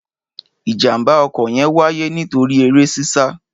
Ìjàḿbà ọ̀kó yẹn wàyé nitori ere sísà